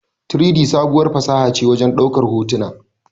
3-D, sabuwar fasaha ce a wajen ɗaukar hotuna.